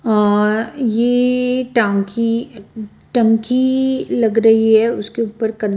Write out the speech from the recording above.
अ ये टांकी टंकी लग रही है उसके ऊपर कं --